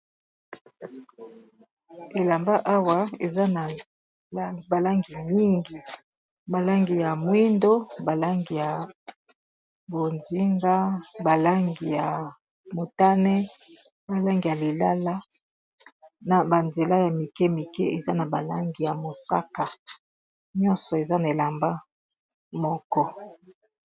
Elamba awa eza na ba langi mingi ba langi ya mwindu ba langi ya bonzinga balangi ya motane ba langi ya lilala na ba nzela ya mike mike eza na ba langi ya mosaka nyonso eza na elamba moko.